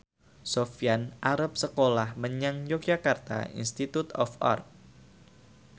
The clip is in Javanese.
Sofyan arep sekolah menyang Yogyakarta Institute of Art